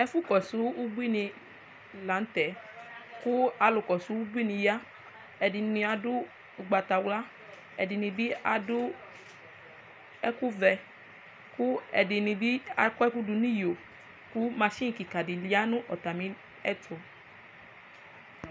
ɛfu kɔsu ubuini lantɛ kò alò kɔsu ubuini ya ɛdini ado ugbatawla ɛdini bi ado ɛkò vɛ kò ɛdini bi akɔ ɛkò do n'iyo kò mashin keka di ya no atamiɛto